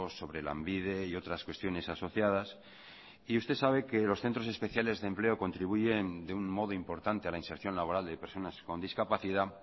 sobre lanbide y otras cuestiones asociadas y usted sabe que los centros especiales de empleo contribuyen de un modo importante a la inserción laboral de personas con discapacidad